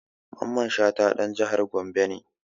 Mamman Shata ɗan jihar Gombe ne